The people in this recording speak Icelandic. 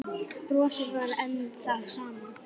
Brosið var enn það sama.